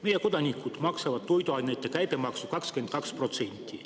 Meie kodanikud maksavad toiduainete käibemaksu 22%.